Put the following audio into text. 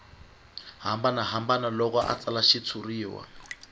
hambanahambana loko a tsala xitshuriwa